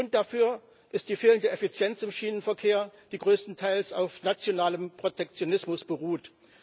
Grund dafür ist die fehlende Effizienz im Schienenverkehr, die größtenteils auf nationalem Protektionismus beruht.